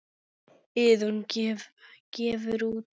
Iðunn gefur út.